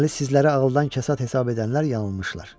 Deməli sizləri ağıldan kəsat hesab edənlər yanılmışlar.